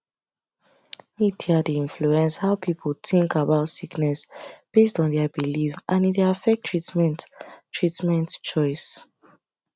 media dey influence how people think about sickness based on their belief and e dey affect treatment treatment choice